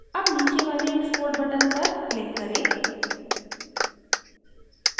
अब नीचे वाले export button पर click करें